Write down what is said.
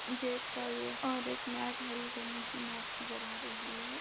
Gate का है ये और एक मेट हरी रंग की मेट नजर आ रही है।